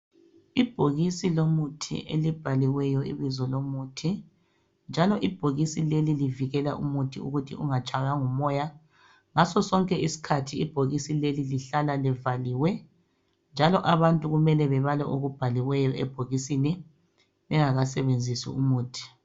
Ibhokisi lomuthi elibhaliweyo ibizo lomuthi njalo ibhokisi leli livikela umuthi ukuthi ungatshaywa ngumoya. Ngasosonke isikhathi ibhokisi leli lihlala livaliwe njalo abantu kumele babale okubhaliweyo ebhokisini bengakasebenzisi umuthi.